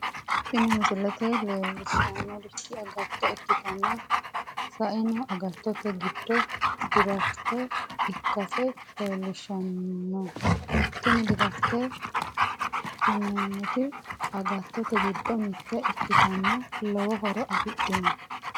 tini misile leellishshannorichi agatto ikkitanna saeno agattote giddo diraafite ikkase leellishshanno tini diraafitete tineemmoti agaattote giddo mitte ikkitanna lowo horo afidhino.